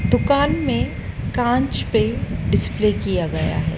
दुकान में कांच पे डिस्प्ले किया गया है।